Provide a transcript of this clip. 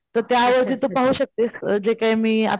तर त्या वरती तू पाहू शकतेस जे काय मी,